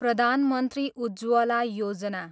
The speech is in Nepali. प्रधान मन्त्री उज्ज्वला योजना